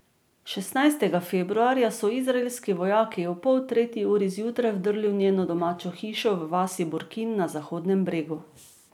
Šestnajstega februarja so izraelski vojaki ob pol tretji uri zjutraj vdrli v njeno domačo hišo v vasi Burkin na Zahodnem bregu.